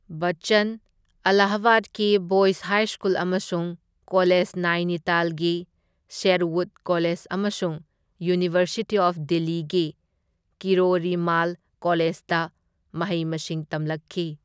ꯕꯆꯆꯟ ꯑꯂꯥꯍꯥꯕꯥꯗꯀꯤ boys high school ꯑꯃꯁꯨꯡ college ꯅꯥꯏꯅꯤꯇꯥꯜꯒꯤ ꯁꯦꯔꯋꯨꯗ ꯀꯣꯂꯦꯖ ꯑꯃꯁꯨꯡ ꯌꯨꯅꯤꯚꯔꯁꯤꯇꯤ ꯑꯣꯐ ꯗꯤꯜꯂꯤꯒꯤ ꯀꯤꯔꯣꯔꯤ ꯃꯥꯜ ꯀꯣꯂꯦꯖꯗ ꯃꯍꯩ ꯃꯁꯤꯡ ꯇꯝꯂꯛꯈꯤ꯫